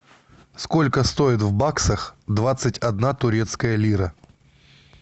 сколько стоит в баксах двадцать одна турецкая лира